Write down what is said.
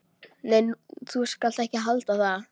Nei, þú skalt ekki halda það!